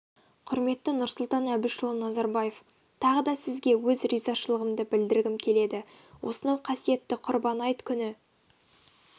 құрметті нұрсұлтан әбішұлы назарбаев тағы да сізге өз ризашылығымды білдіргім келеді осынау қасиетті құрбан айт күні